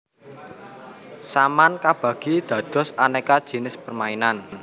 Saman kabagi dados aneka jinis permainan